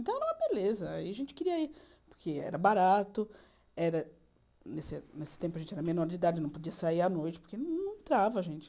Então era uma beleza, aí a gente queria ir, porque era barato, nesse tempo a gente era menor de idade, não podia sair à noite, porque não entrava a gente.